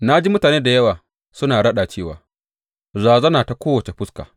Na ji mutane da yawa suna raɗa cewa, Razana ta kowace fuska!